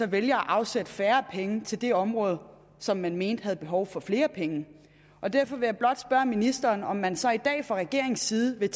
vælger at afsætte færre penge til det område som man mente havde behov for flere penge og derfor vil jeg blot spørge ministeren om man så i dag fra regeringens side vil